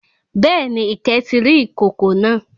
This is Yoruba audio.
Béèni, Ìkẹ́ ti rí ìkòkò náà